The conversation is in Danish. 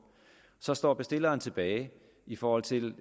så står bestilleren tilbage i forhold til